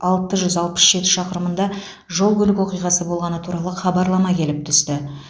алты жүз алпыс жеті шақырымында жол көлік оқиғасы болғаны туралы хабарлама келіп түсті